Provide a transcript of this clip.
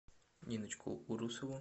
ниночку урусову